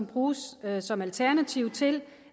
bruges som alternativ til